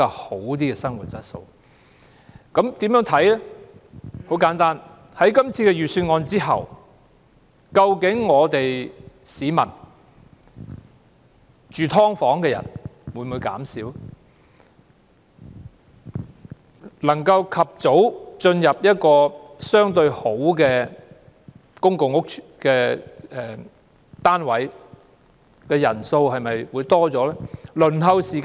很簡單，我們應該看看在今次的預算案通過後，究竟居於"劏房"的市民會否減少？能夠及早入住環境相對較好的公共屋邨單位的人數會否增加？